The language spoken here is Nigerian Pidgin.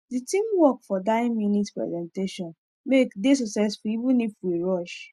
the teamwork for dye minute presentation make dey successful even if we rush